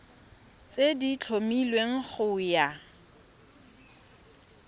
tse di tlhomilweng go ya